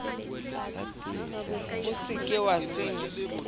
o se ke wa senya